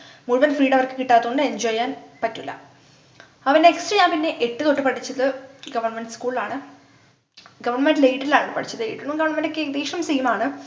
മുഴുവൻ freedom അവർക്ക് കിട്ടാത്ത കൊണ്ട് enjoy ചെയ്യാൻ പറ്റൂല അപ്പൊ പിന്നെ next ഞാൻ പിന്നെ എട്ടു തൊട്ടു പഠിച്ചത് government school ലാണ് government aided ലാണ് പഠിച്ചത് aided ഉം government ഉം ഒക്കെ ഏകദേശം same ആണ്